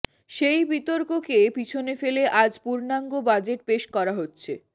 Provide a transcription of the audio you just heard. সেই বিতর্ককে পিছনে ফেলে আজ পূর্ণাঙ্গ বাজেট পেশ করা হচ্ছে